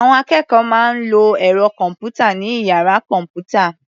Àwọn akẹ́kọ̀ọ́ máa ń lọ ẹ̀rọ kọ̀m̀pútà ní ìyára kọ̀m̀pútà